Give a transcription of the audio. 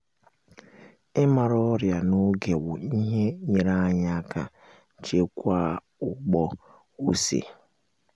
ịmara ọrịa na-oge wu-ihe nyere anyị aka chekwaa ugbo ose